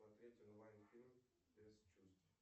смотреть онлайн фильм без чувств